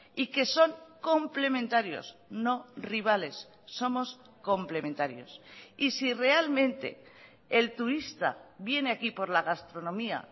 y que son complementarios no rivales somos complementarios y si realmente el turista viene aquí por la gastronomía